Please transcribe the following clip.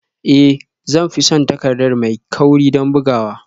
Ee zan fi son takarda mai kauri don bugawa